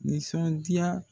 Nisɔndiya